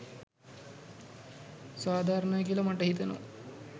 සාධාරණයි කියලා මට හිතෙනවා.